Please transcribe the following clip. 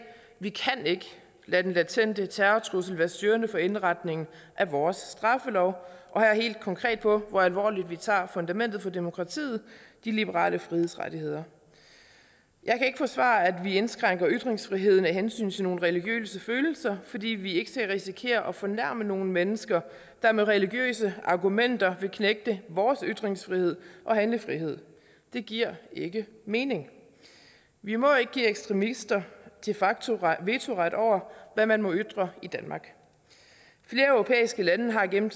vi kan ikke lade den latente terrortrussel være styrende for indretningen af vores straffelov og her helt konkret på hvor alvorligt vi tager fundamentet for demokratiet de liberale frihedsrettigheder jeg kan ikke forsvare at vi indskrænker ytringsfriheden af hensyn til nogle religiøse følelser fordi vi ikke skal risikere at fornærme nogle mennesker der med religiøse argumenter vil knægte vores ytringsfrihed og handlefrihed det giver ikke mening vi må ikke give ekstremister de facto vetoret over hvad man må ytre i danmark flere europæiske lande har gennem